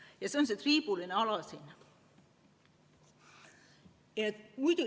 Ja see on see triibuline ala siin.